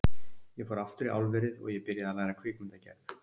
Ég fór aftur í álverið og ég byrjaði að læra kvikmyndagerð.